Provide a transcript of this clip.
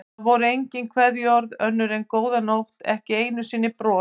Það voru engin kveðjuorð önnur en góða nótt, ekki einu sinni bros.